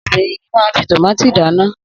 Obìnrin yìí máa ń fi tòmátì dáná.